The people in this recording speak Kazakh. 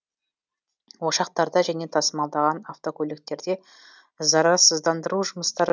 ошақтарда және тасымалдаған автокөліктерде зарарсыздандыру жұмыстары